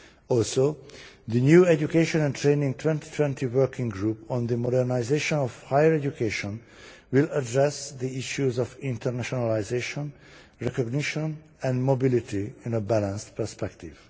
Also the new Education and Training 2020 working group on the modernisation of higher education will address the issues of internationalisation, recognition and mobility in a balanced perspective.